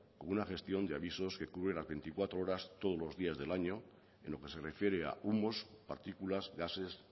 como una gestión de avisos que cubren las veinticuatro horas todos los días del año en lo que se refiere a humos partículas gases